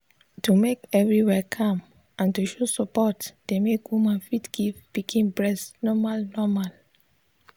to make everywhere calm and to show support dey make woman fit give him pikin breast normal normal.